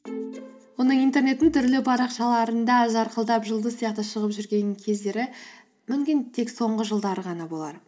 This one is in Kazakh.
оның интернеттің түрлі парақшаларында жарқылдап жұлдыз сияқты шығып жүрген кездері мүмкін тек соңғы жылдар ғана болар